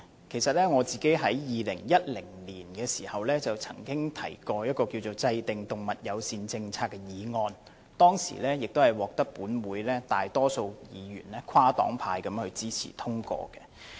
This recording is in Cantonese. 事實上，我曾在2010年提出"制訂動物友善政策"的議案，並獲得本會大多數跨黨派議員支持，予以通過。